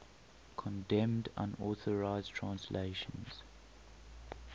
condemned unauthorized translations